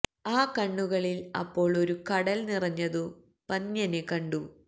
ആ കണ്ണുകളില് അപ്പോള് ഒരു കടല് നിറഞ്ഞതു പന്ന്യന് കണ്ടു